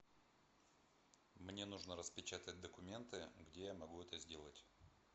мне нужно распечатать документы где я могу это сделать